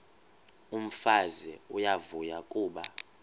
umfazi uyavuya kuba